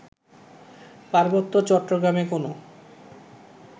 পার্বত্য চট্টগ্রামে কোনো